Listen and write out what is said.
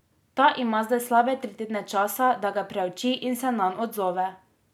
Ta ima zdaj slabe tri tedne časa, da ga preuči in se nanj odzove.